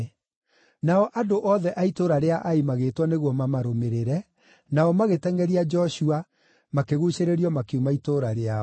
Nao andũ othe a itũũra rĩa Ai magĩĩtwo nĩguo mamarũmĩrĩre, nao magĩtengʼeria Joshua makĩguucĩrĩrio makiuma itũũra rĩao.